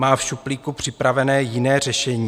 Má v šuplíku připravené jiné řešení?